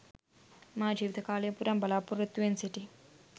මා ජීවිතකාලයම පුරා බලාපොරොත්තුවෙන් සිටි